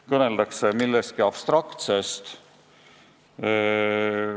Kõneldakse justkui millestki abstraktsest.